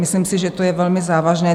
Myslím si, že to je velmi závažné.